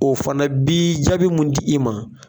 O fana bi jaabi mun di i ma.